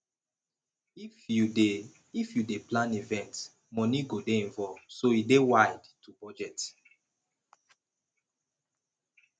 if you dey if you dey plan event money go dey involved so e dey wide to budget